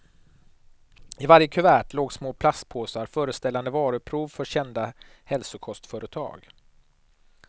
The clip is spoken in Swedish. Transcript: I varje kuvert låg små plastpåsar, föreställande varuprov för kända hälsokostföretag.